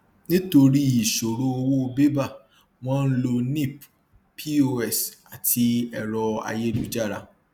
nítorí ìṣòro owó bébà wọn ń lo nip pos àti ẹrọ ayélujára